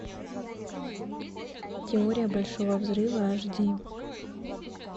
теория большого взрыва аш ди